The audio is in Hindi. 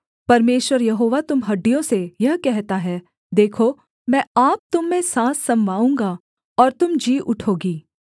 परमेश्वर यहोवा तुम हड्डियों से यह कहता है देखो मैं आप तुम में साँस समवाऊँगा और तुम जी उठोगी